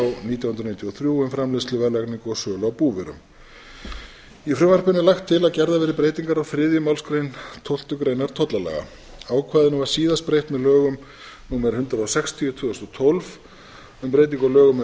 nítján hundruð níutíu og þrjú um framleiðslu verðlagningu og sölu á búvörum í frumvarpinu er lagt til að gerðar verði breytingar á gerðar verði breytingar á þriðju málsgrein tólftu greinar tollalaga ákvæðinu var síðast breytt með lögum númer hundrað sextíu tvö þúsund og tólf um breytingu á lögum um